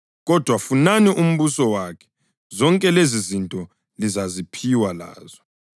Kodwa funani umbuso wakhe, zonke lezizinto lizaziphiwa lazo.